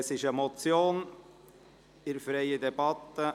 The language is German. Es handelt sich um eine Motion der SP-JUSO-PSA-Fraktion.